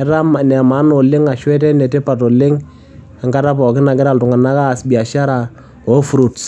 Etaa ene maana oleng' ashu etaa ene tipat oleng' enkata pookin nagira iltung'anak aas biashara oo fruits.